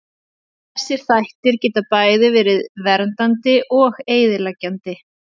Þessir þættir geta bæði verið verið verndandi og eyðileggjandi.